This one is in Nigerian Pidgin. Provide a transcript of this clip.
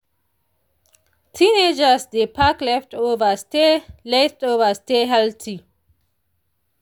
teenagers dey pack leftover stay leftover stay healthy.